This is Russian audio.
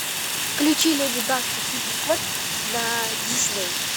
включи леди баг и супер кот на дисней